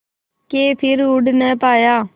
के फिर उड़ ना पाया